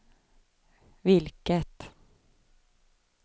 vilket